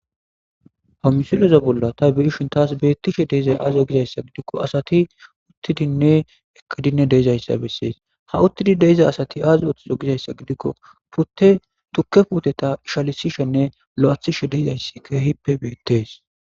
Ha missileza bolan ta be'ashe tas betishe dizay aze gizaysa gidiko asati utidinne eqidine de'izaysa beses ha utidi de'iza asati azi othizo gizaysa gidiko pute tuke puteta ishalisishenne lo'atishe de'izaysi kehipe betes.